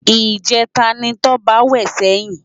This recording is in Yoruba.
Ijètá ni Toba wè sèyin